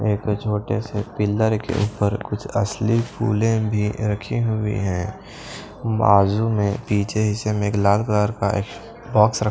एक छोटे से पिलर के ऊपर कुछ असली फूलें भी रखी हुई हैं बाजू में पीछे हिस्से में एक लाल कलर का एक बॉक्स रख--